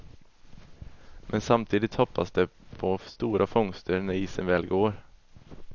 Men samtidigt hoppas de på stora fångster när isen väl går.